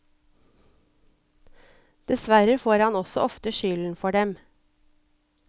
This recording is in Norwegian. Dessverre får han også ofte skylden for dem.